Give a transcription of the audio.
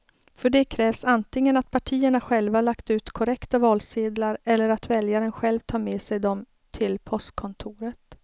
För det krävs antingen att partierna själva lagt ut korrekta valsedlar eller att väljaren själv tar med sig dem till postkontoret.